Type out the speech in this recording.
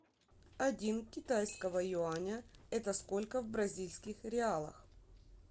один китайского юаня это сколько в бразильских реалах